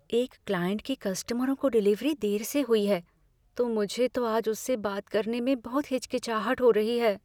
एक क्लाइंट के कस्टमरों को डिलीवरी देर से हुई है, तो मुझे तो आज उससे बात करने में बहुत हिचकिचाहट हो रही है।